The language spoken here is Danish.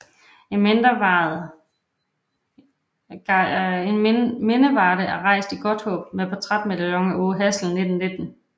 En mindevarde er rejst i Godthaab med portrætmedaljon af Aage Hassel 1919